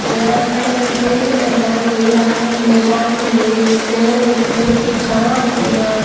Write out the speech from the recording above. यहां पर मुझे मैदान दिख रहा है मैदान में मुझे एक पेड़ है पेड़ की छावां है यहाँ पर --